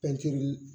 Pɛntiri